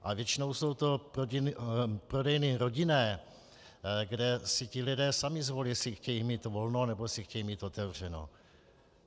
Ale většinou jsou to prodejny rodinné, kde si ti lidé sami zvolí, jestli chtějí mít volno, nebo jestli chtějí mít otevřeno.